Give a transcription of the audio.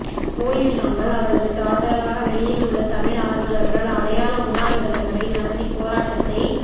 போய்விடாமல் அவர்களுக்கு ஆதரவாக வெளியில் உள்ள தமிழ் ஆர்வலர்கள் அடையாள உண்ணாவிரதங்களை நடத்தி போராட்டத்தை